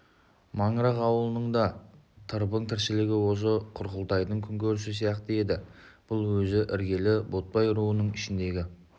маңырақ ауылының да тырбың тіршілігі осы құрқылтайдың күнкөрісі сияқты еді бұл өзі іргелі ботбай руының ішіндегі